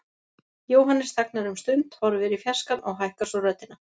Jóhannes þagnar um stund, horfir í fjarskann og hækkar svo röddina.